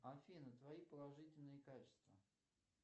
афина твои положительные качества